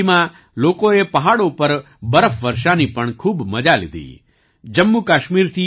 આ ઠંડીમાં લોકોએ પહાડો પર બરફવર્ષા ની પણ ખૂબ મજા લીધી